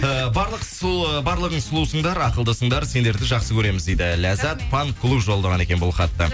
э барлық сол барлығың сұлусыңдар ақылдысындар сендерді жақсы көреміз дейді ләззат фан клубы жолдаған екен бұл хатты